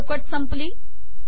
ही चौकट संपली